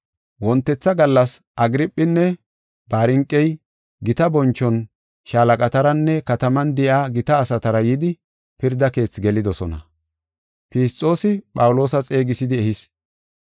Wontetha gallas Agirphinne Barniqey gita bonchon shaalaqataranne kataman de7iya gita asatara yidi pirda keethi gelidosona. Fisxoosi Phawuloosa xeegisidi ehis.